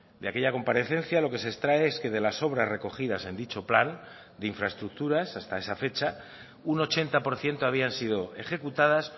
de aquella comparecencia lo que se extrae es que de las obras recogidas en dicho plan de infraestructuras hasta esa fecha un ochenta por ciento habían sido ejecutadas